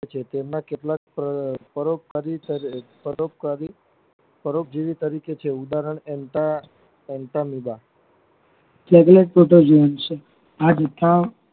છે તેમના કેટલાક પર પરોપકારી પરોપકારી પરોપકારી પરોપજીવી તારીકે છે ઉદારહણ અમીબા